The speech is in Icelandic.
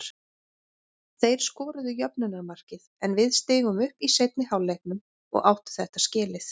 Þeir skoruðu jöfnunarmarkið en við stigum upp í seinni hálfleiknum og áttu þetta skilið.